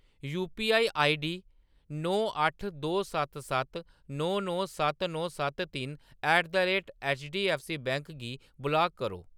UPI ID नौ अट्ठ दो सत्त सत्त नौ नौ सत्त नौ सत्त त्रै at the rate bank HDFC bank गी ब्लाक करो।